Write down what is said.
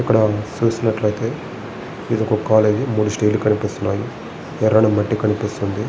ఇక్కడ చూసినట్లయితే ఇది ఒక కాలేజ్ మూడు స్తైర్ లు కనిపిస్తున్నాయి. ఎర్రటి మట్టి కనిపిస్తుంది.